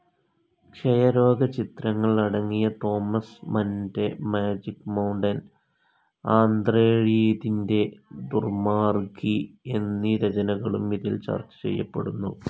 ക്ഷയരോഗചിത്രങ്ങൾ അടങ്ങിയ തോമസ് മന്റെ magic mountain, Andre ഴീദിന്റെ ദുർമ്മാർഗ്ഗി എന്നീ രചനകളും ഇതിൽ ചർച്ച ചെയ്യപ്പെടുന്നു.